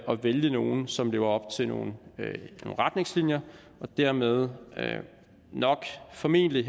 vælge nogle som lever op til nogle retningslinjer og dermed formentlig